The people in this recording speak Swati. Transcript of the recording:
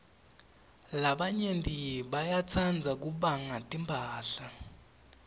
labanyenti bayatsrdza kubanya timphahla